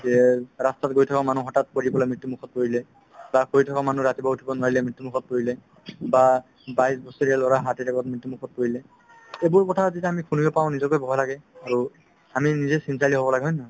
ৰাস্তাত গৈ থকা মানুহ হঠাৎ পৰি পেলাই মৃত্যুমুখত পৰিলে বা শুই থকা মানুহ ৰাতিপুৱা উঠিব নোৱাৰিলে মৃত্যুমুখত পৰিলে বা বাইছ বছৰীয়া ল'ৰা heart attack ত মৃত্যুমুখত পৰিলে এইবোৰ কথা যেতিয়া আমি শুনিব পাওঁ নিজকে ভয় লাগে আৰু আমি নিজে চিন্তাশালী হ'ব লাগে হয় নে নহয়